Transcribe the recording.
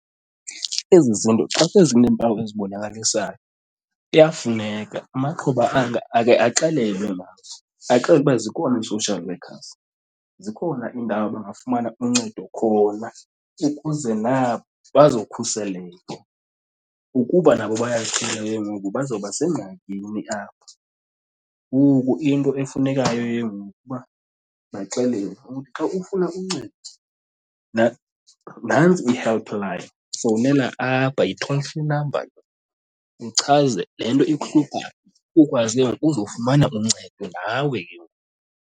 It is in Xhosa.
Ezi zinto xa sezineempawu ezibonakalisayo kuyafuneka amaxhoba anga akhe axelelwe ngazo, axelelwe uba zikhona ii-social workers. Zikhona iindawo bangafumana uncedo khona ukuze nabo bazokhuseleka. Ukuba nabo ke ngoku bazawuba sengxakini apha, ngoku into efunekayo ke ngoku uba baxelelwe. Uthi xa ufuna umncedi nantsi i-helpline fowunela apha, yi-toll free number le, uchaze le nto ikuhluphayo ukwazi ke ngoku uzofumana uncedo nawe ke ngoku.